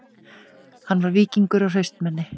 Hann var víkingur og hraustmenni